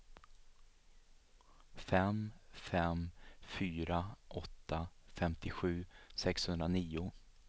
fem fem fyra åtta femtiosju sexhundranio